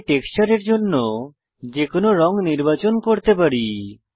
এখানে টেক্সচারের জন্য যেকোনো রঙ নির্বাচন করতে পারি